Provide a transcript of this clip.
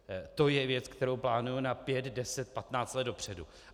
To je věc, kterou plánujeme na pět, deset, patnáct let dopředu.